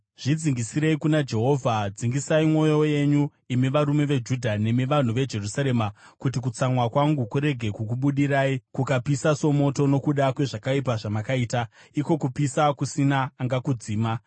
Zvidzingisirei kuna Jehovha, dzingisai mwoyo yenyu, imi varume veJudha nemi vanhu veJerusarema, kuti kutsamwa kwangu kurege kukubudirai kukapisa somoto, nokuda kwezvakaipa zvamakaita, iko kupisa kusina angakudzima.